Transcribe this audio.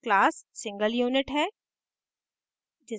class single unit है